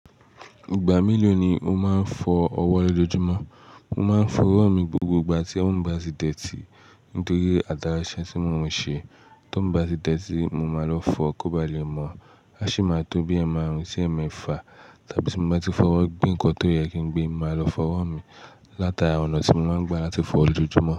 Ìgbà mélòó ni o máa ń fọ ọwọ́ lọjọ́jumo? Mo máa ń fọ owo mi gbogbo ìgbà tí owo mi bá sì dirty nítorí àtara ise tí mo ò ṣe. Tówo bá ti dirty, mo máa lọ fọ kó ba lè mọ̀, á sì máa tó bí ẹ̀ máarùn si èmefa tàbí tí mo bá ti fọwọ́ gbé nǹkan tó yẹ kí n gbé, mo máa lọ fọ owo mi látara ọ̀nà tí mo máa ń gbà láti fọ lójoúmọ́.